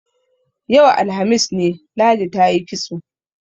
Yau, alhamis ne, Ladi ta yi kitso.